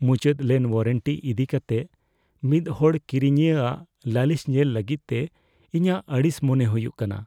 ᱢᱩᱪᱟᱹᱫ ᱞᱮᱱ ᱳᱣᱟᱨᱮᱱᱴᱤ ᱤᱫᱤ ᱠᱟᱛᱮ ᱢᱤᱫ ᱦᱚᱲ ᱠᱤᱨᱤᱧᱤᱭᱟᱹ ᱟᱜ ᱞᱟᱹᱞᱤᱥ ᱧᱮᱞ ᱞᱟᱹᱜᱤᱫ ᱛᱮ ᱤᱧᱟᱹᱜ ᱟᱹᱲᱤᱥ ᱢᱚᱱᱮ ᱦᱩᱭᱩᱜ ᱠᱟᱱᱟ ᱾